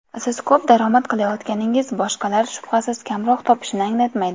Siz ko‘p daromad qilayotganingiz boshqalar shubhasiz kamroq topishini anglatmaydi.